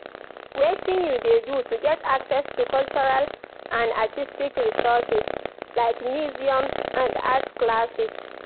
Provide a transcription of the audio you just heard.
Wetin you dey do to get access to cultural and artistic resources, like museums and art classes?